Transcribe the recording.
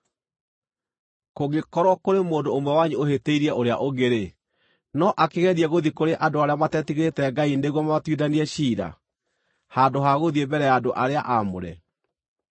Kũngĩkorwo kũrĩ mũndũ ũmwe wanyu ũhĩtĩirie ũrĩa ũngĩ-rĩ, no akĩgerie gũthiĩ kũrĩ andũ arĩa matetigĩrĩte Ngai nĩguo mamatuithanie ciira, handũ ha gũthiĩ mbere ya andũ arĩa aamũre?